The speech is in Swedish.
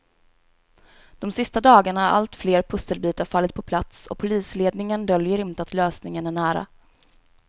De sista dagarna har allt fler pusselbitar fallit på plats och polisledningen döljer inte att lösningen är nära.